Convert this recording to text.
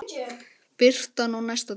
Birtan á næsta degi.